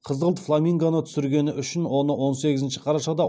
қызғылт фламингоны түсіргені үшін оны он сегізінші қарашада